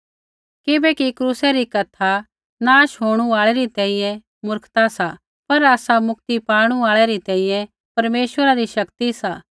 किबैकि क्रूसा री कथा नाश होणू आल़ै री तैंईंयैं मूर्खता सा पर आसा मुक्ति पाणु आल़ै रै तैंईंयैं परमेश्वरा री शक्ति सा